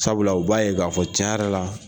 Sabula u b'a ye k'a fɔ tiɲɛ yɛrɛ la